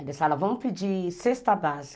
Eles falavam, vamos pedir cesta básica.